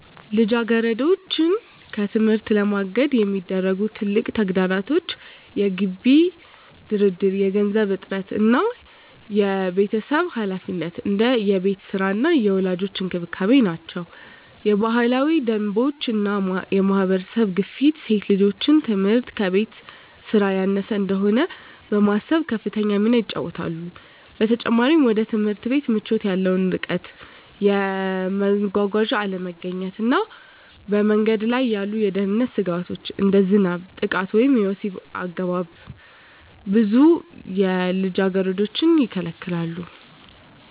ልጃገረዶችን ከትምህርት ለማገድ የሚያደርጉ ትልቁ ተግዳሮቶች የገቢ ድርድር፣ የገንዘብ እጥረት እና የቤተሰብ ኃላፊነት (እንደ የቤት ሥራ እና የወላጆች እንክብካቤ) ናቸው። የባህላዊ ደንቦች እና የማህበረሰብ ግፊት ሴት ልጆች ትምህርት ከቤት ሥራ ያነሰ እንደሆነ በማሰብ ከፍተኛ ሚና ይጫወታሉ። በተጨማሪም፣ ወደ ትምህርት ቤት ምቾት ያለው ርቀት፣ የመጓጓዣ አለመገኘት እና በመንገድ ላይ ያሉ የደህንነት ስጋቶች (እንደ ዝናብ፣ ጥቃት ወይም የወሲብ አገባብ) ብዙ ልጃገረዶችን ይከለክላሉ።